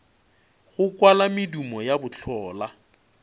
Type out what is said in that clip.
go kwala medumo ya bohlola